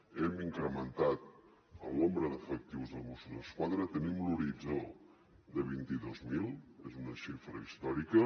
hem incrementat el nombre d’efectius de mossos d’esquadra tenim un horitzó de vint dos mil és una xifra històrica